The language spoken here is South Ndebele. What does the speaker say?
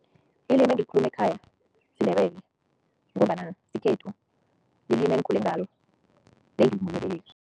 Ilimi engilikhuluma ekhaya siNdebele ngombana sikhethu, lilimi engikhule ngalo